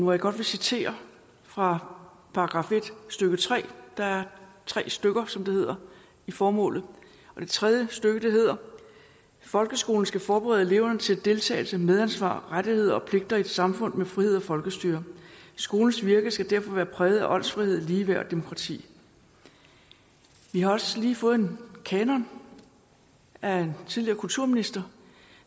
vil godt citere fra § en stykke tredje der er tre stykker som det hedder i formålet og det tredje stykke hedder folkeskolen skal forberede eleverne til deltagelse medansvar rettigheder og pligter i et samfund med frihed og folkestyre skolens virke skal derfor være præget af åndsfrihed ligeværd og demokrati vi har også lige fået en kanon af en tidligere kulturminister